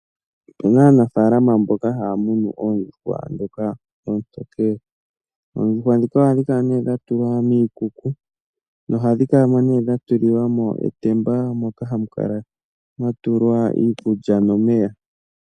Opu na aanafaalama mboka haya munu oondjuhwa ndhoka ootokele. oondjuhwa ndhika ohadhi kala dha tulwa miikuku nohadhi kala dha tulilwa mo etemba moka hamu kala mwa tulwa iikulya nomeya.